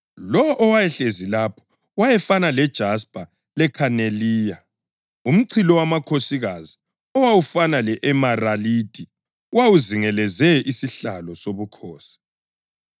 Lowo owayehlezi lapho wayefana lejaspa lekhaneliya. Umchilowamakhosikazi owawufana le-emeralidi wawuzingeleze isihlalo sobukhosi.